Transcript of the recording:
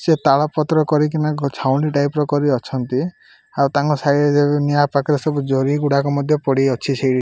ସେ ତାଳ ପତ୍ର କରିକିନା ଗଛ୍ ଝାଉଁଳି ଟାଇପ ର କରି ଅଛନ୍ତି ଆଉ ତାଙ୍କ ସାଇ ଯାକ ନିଆଁ ପାଖରେ ସବୁ ଜରି ଗୁଡ଼ାକ ମଧ୍ୟ ପଡ଼ିଅଛି ସେଇ --